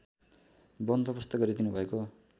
बन्दोबस्त गरिदिनुभएको